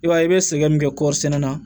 I b'a ye i bɛ sɛgɛn min kɛ kɔɔri sɛnɛ na